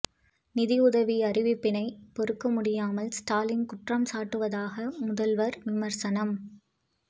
நிதியுதவி அறிவிப்பினை பொறுக்க முடியாமல் ஸ்டாலின் குற்றம் சாட்டுவதாக முதல்வர் விமர்சனம்